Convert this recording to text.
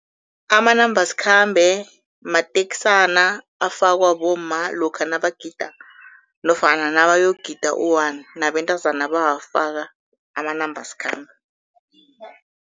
Amanambasikhambe matekisana afakwa bomma lokha nabagida nofana nabayogida u-one, nabentazana bawafaka amanambasikhambe.